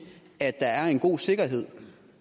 at der er en god sikkerhed